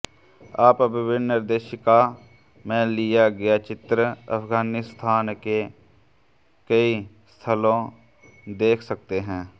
आप विभिन्न निर्देशिका में लिया गया चित्र अफगानिस्तान के कई स्थलों देख सकते हैं